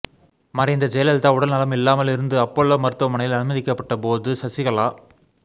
மறைந்த ஜெயலலிதா உடல்நலம் இல்லாமல் இருந்து அப்பல்லோ மருத்துவமனையில் அனுமதிக்கப்பட்ட போது சசிகலா